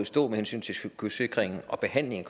stå med hensyn til kystsikringen og behandlingen